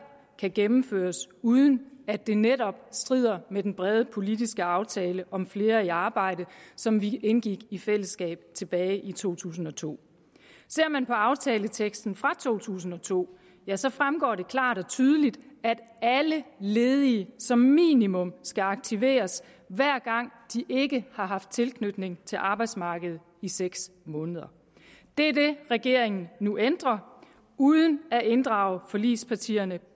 kan gennemføres uden at det netop strider mod den brede politiske aftale om flere i arbejde som vi indgik i fællesskab tilbage i to tusind og to ser man på aftaleteksten fra to tusind og to ja så fremgår det klart og tydeligt at alle ledige som minimum skal aktiveres hver gang de ikke har haft tilknytning til arbejdsmarkedet i seks måneder det er det regeringen nu ændrer uden at inddrage forligspartierne